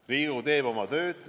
Riigikogu teeb oma tööd.